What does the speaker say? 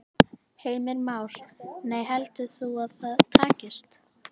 Heimir Már: Nei, heldur þú að það takist?